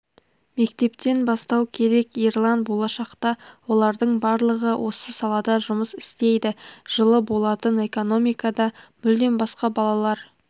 мектептен бастау керек ерлан болашақта олардың барлығы осы салада жұмыс істейді жылы болатын экономикада мүлдем басқа балалар